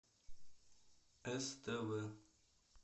ств